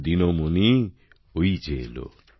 দিনমণি ওই যে এলো